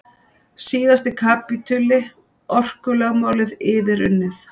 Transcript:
Síðasti kapítuli- orkulögmálið yfirunnið